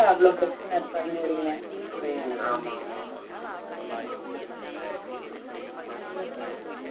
ம், ஆமா, ஆமா.